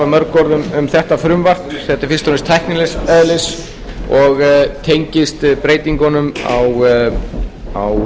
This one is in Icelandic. mörg orð um þetta frumvarp þetta er fyrst og fremst tæknilegs eðlis og